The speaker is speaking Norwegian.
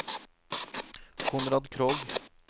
Konrad Krogh